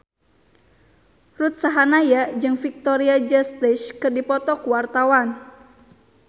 Ruth Sahanaya jeung Victoria Justice keur dipoto ku wartawan